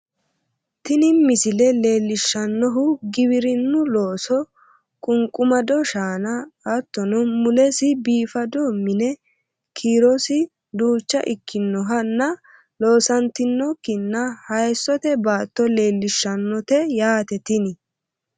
tini misile leellishshannohu giwirinnu looso qunqumado shaan ahattono mulesi biifado mine kiirosi duucha ikkinohanna loosantinokkinna hayeessote baatto leellishshannote yaate tini